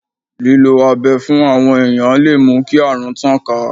Lílo abẹ pẹ̀lú àwọn èèyàn lè mú kí àrùn tàn ká.